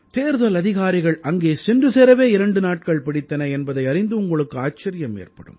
தேர்தல் அதிகாரிகள் அங்கே சென்று சேரவே இரண்டு நாட்கள் பிடித்தன என்பதை அறிந்து உங்களுக்கு ஆச்சரியம் ஏற்படும்